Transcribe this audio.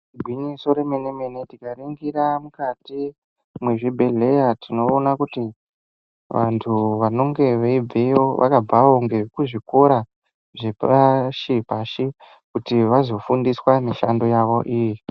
Igwinyiso remene-mene tikaringira mukati, mwezvibhedheya, tinoona kuti vantu vanonge veibveyo, vakabvawo ngekuzvikora zvepashi-pashi, kuti vazofundiswa mishando yavo iyi.